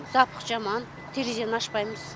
запах жаман терезені ашпаймыз